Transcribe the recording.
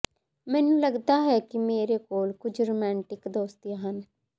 ਮੈਨੂੰ ਲਗਦਾ ਹੈ ਕਿ ਮੇਰੇ ਕੋਲ ਕੁਝ ਰੋਮਾਂਟਿਕ ਦੋਸਤੀਆਂ ਹਨ